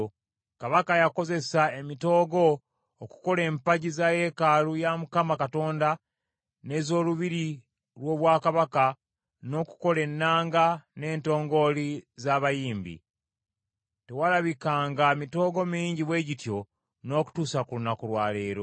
Kabaka yakozesa emitoogo okukola empagi za yeekaalu ya Mukama Katonda n’ez’olubiri lw’obwakabaka, n’okukola ennanga, n’entongooli z’abayimbi. Tewalabikanga mitoogo mingi bwe gityo n’okutuusa ku lunaku lwa leero.)